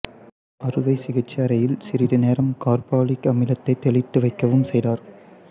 அறுவை சிகிச்சை அறையில் சிறிது நேரம் கார்பாலிக் அமிலத்தைத் தெளித்து வைக்கவும் செய்தார்